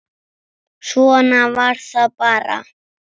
Svona var það bara.